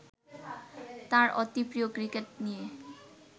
তাঁর অতিপ্রিয় ক্রিকেট নিয়ে